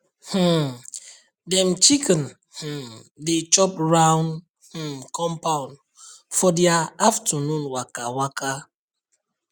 um dem chicken um dey chop round um compound for dia afternoon waka waka